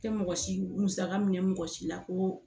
Tɛ mɔgɔ si musaka minɛ mɔgɔ si la ko